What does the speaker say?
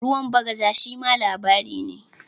"Ruwan bagaja" shima labari ne.